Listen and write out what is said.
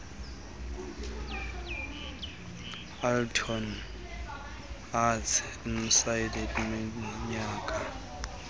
athlone arts esineminyaka